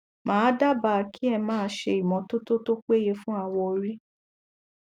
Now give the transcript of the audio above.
màá dábàá kí ẹ máa ṣe ìmọtotó tó péye fún awọ orí